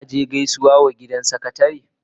Ka je Gausuwa mutu was a gidan sakatare?